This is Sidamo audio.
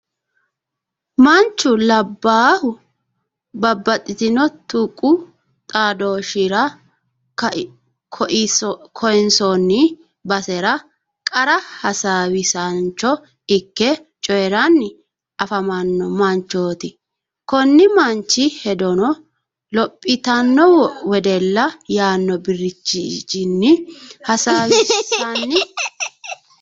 Manchu labbaahu babbaxitino tuqu xaadooshshira koinsoonni basera qarra hasaawisaancho ikke coyiranni afamanno manchooti. Konni manchi hedono lophitanno wedella yaanno birxichinni hasaawisanni nooho.